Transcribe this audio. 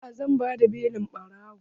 Eh zan bada belin ɓarawon.